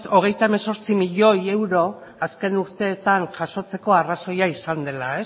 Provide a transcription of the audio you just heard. hogeita hemezortzi milioi euro azken urteetan jasotzeko arrazoia izan dela